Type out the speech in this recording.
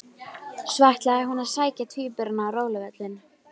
Svo ætlaði, hún að sækja tvíburana á róluvöllinn.